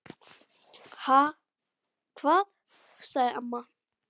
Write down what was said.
Ha, hvað? sagði amma.